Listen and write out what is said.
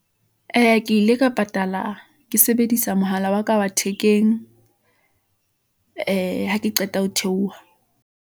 Ee ke ile ka patala , ke sebedisa mohala wa ka wa thekeng , ee ha ke qeta ho theoha.